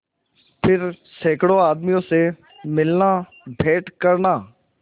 फिर सैकड़ों आदमियों से मिलनाभेंट करना